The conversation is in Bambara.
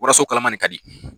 Waraso kalaman de ka di.